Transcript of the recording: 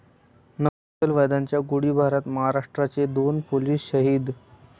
नक्षलवाद्यांच्या गोळीबारात महाराष्ट्राचे दोन पोलीस शहीद